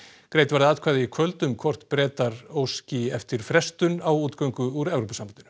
greidd verða atkvæði í kvöld um hvort Bretar óski eftir frestun á útgöngu úr Evrópusambandinu